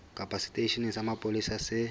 kapa seteisheneng sa mapolesa se